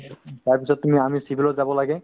তাৰপিছত তুমি আমি civil ত যাব লাগে